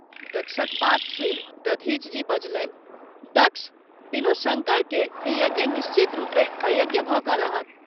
दक्षक बात सुनि दधिच जी बजलनि दक्ष! विनु शंकर के ई यज्ञ निश्चित रूपेँ अयज्ञ भ’ क’ रहत।